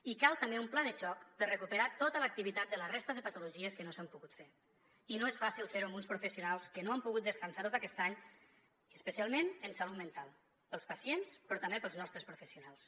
i cal també un pla de xoc per recuperar tota l’activitat de la resta de patologies que no s’han pogut fer i no és fàcil fer ho amb uns professionals que no han pogut descansar tot aquest any i especialment en salut mental pels pacients però també pels nostres professionals